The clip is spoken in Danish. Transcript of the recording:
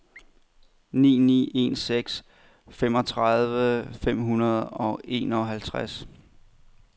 ni ni en seks femogtredive fem hundrede og enoghalvtreds